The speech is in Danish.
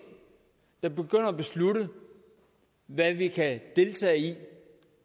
der begynder at beslutte hvad vi kan deltage i